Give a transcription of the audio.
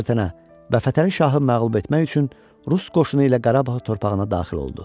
və Fətəli şahı məğlub etmək üçün Rus qoşunu ilə Qarabağ torpağına daxil oldu.